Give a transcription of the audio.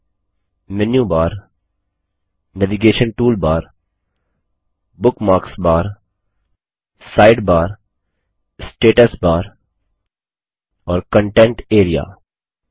मेनू bar menu bar navigation toolbar navigation toolbar bookmarks bar bookmarks bar side bar side bar status bar status bar और content area content area